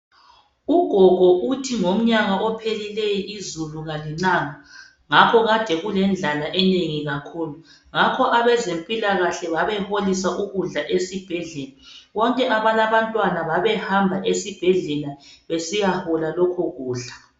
Ugogo uthi ngomnyaka ophelileyo izulu kalinanga ngakho kade kulendlala enengi kakhulu ngakho abezempilakahle babeholisa ukudla esibhedlela. Bonke abalabantwana babehamba esibhedlela besiyahola lokho kudla